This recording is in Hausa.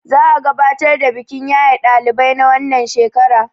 za a gabatar da bikin yaye ɗalibai na wannan shekara